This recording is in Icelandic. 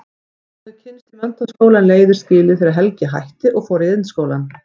Þau höfðu kynnst í menntaskóla en leiðir skilið þegar Helgi hætti og fór í Iðnskólann.